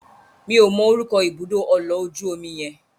Mi ò mọ orúkọ ibùdó ọlọ̀ ojú omi yẹn.